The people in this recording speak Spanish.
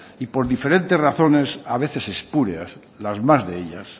y por diferentes razones a veces espurias las más de ellas